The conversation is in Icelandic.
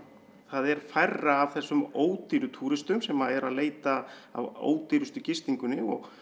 það er færra af þessum ódýru túristum sem eru að leita að ódýrustu gistingunni og